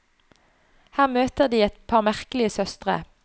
Her møter de et par merkelige søstre.